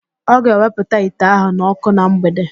Ọ ga-ewepụta ite ahụ n'okụ na mgbede